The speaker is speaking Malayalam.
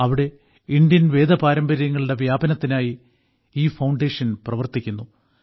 അവിടെ ഇന്ത്യൻ വേദപാരമ്പര്യങ്ങളുടെ വ്യാപനത്തിനായി ഈ ഫൌണ്ടേഷൻ പ്രവർത്തിക്കുന്നു